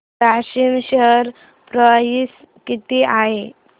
Grasim share price किती आहे